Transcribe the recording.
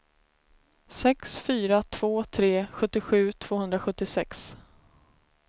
sex fyra två tre sjuttiosju tvåhundrasjuttiosex